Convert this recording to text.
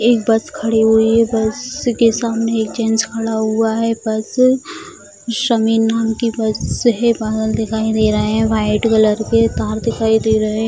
एक बस खड़ी हुई है बस के सामने एक जेंट्स खड़ा हुआ है बस समीर नाम की बस है बादल दिखाई दे रहे है व्हाइट कलर के तार दिखाई दे रहे है।